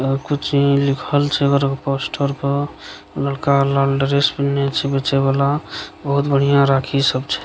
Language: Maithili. और कुछ इ लिखल छै एकड़ पोस्टर पर लड़का लाल ड्रेस पहने छे बच्चा वाला बहुत बढ़ियाँ राखी सब छै।